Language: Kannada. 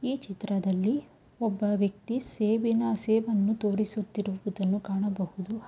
ಈ ಚಿತ್ರದಲ್ಲಿ ಒಬ್ಬ ವ್ಯಕ್ತಿ ಸೇಬಿನ ಸೇಬನ್ನು ತೋರಿಸುತ್ತಿರುವುದನ್ನು ಕಾಣಬಹುದು.